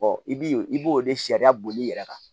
i bi i b'o de sariya boli i yɛrɛ kan